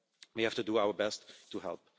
We have to do our best to help.